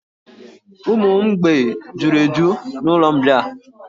Ụmụ mgbei juru eju na'ụlọ mbịà.